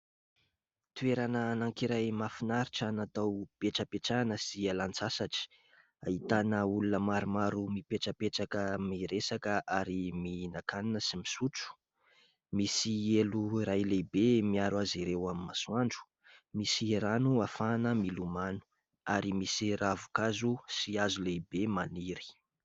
Toerana anankiray mahafinaritra natao ipetrapetrahana sy ialan-tsasatra. Ahitana olona maromaro mipetrapetraka miresaka, ary mihinan-kanina sy misotro. Misy elo iray lehibe miaro azy ireo amin'ny masoandro ; misy rano afahana milomano ; ary misy ravin-kazo sy hazo lehibe maniry.